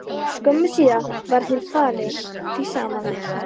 Skömmu síðar varð hinn fyrir því sama.